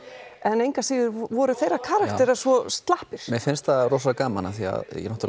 en engu að síður voru þeir karakterar svo slappir mér finnst það rosa gaman því að